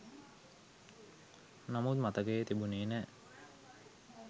නමුත් මතකයේ තිබුණේ නෑ.